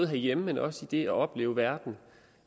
herhjemme men også i det at opleve verden